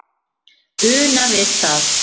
una við það